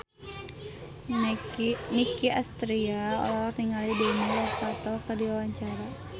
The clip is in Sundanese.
Nicky Astria olohok ningali Demi Lovato keur diwawancara